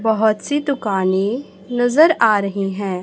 बहोत सी दुकाने नजर आ रही हैं।